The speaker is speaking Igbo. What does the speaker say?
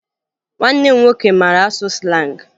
Nwanne m nwoke mara asụ slangị